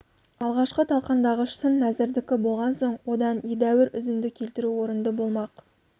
алғашқы талқандағыш сын нәзірдікі болған соң одан едәуір үзінді келтіру орынды болмақ